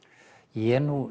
ég er